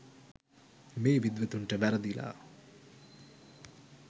මේ විද්වතුන් ට වැරදිලා